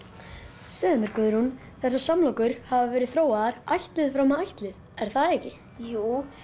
segðu mér Guðrún þessar samlokur hafa verið þróaðar ættlið fram af ættlið er það ekki jú